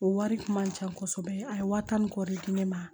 O wari kun man ca kosɛbɛ a ye waa tan ni kɔ de di ne ma